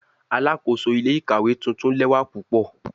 Alakoso ile-ikawe tuntun lẹwa pupọ